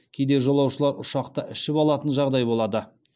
кейде жолаушылар ұшақта ішіп алатын жағдай болады